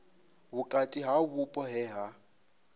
vhukati ha vhupo he ha